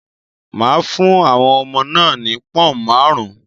Maa fún àwọn ọmọ náà ni pọ̀ọ̀un máarun